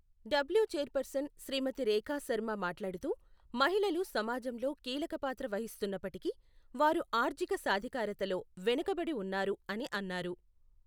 W chairperson Shrimati Rekha Sharma మాట్లాడుతూ, మహిళలు సమాజంలో కీలకపాత్ర వహిస్తున్నప్పటికీ, వారు ఆర్ఙిక సాధికారతలో వెనుకబడి ఉన్నారు అని అన్నారు.